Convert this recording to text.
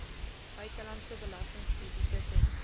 buitelandse belastingkrediete ten